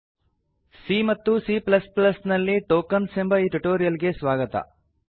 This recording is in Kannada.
C ಮತ್ತು Cನಲ್ಲಿ ಟೊಕನ್ಸ್ ಎಂಬ ಈ ಟ್ಯುಟೋರಿಯಲ್ ಗೆ ಸ್ವಾಗತ